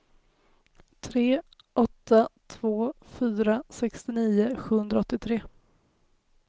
tre åtta två fyra sextionio sjuhundraåttiotre